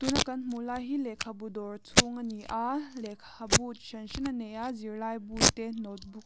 kan hmuh lai hi lehkhabu dawr chhung a ni a lehkhabu chi hran hran a nei a zirlai bu te notebook --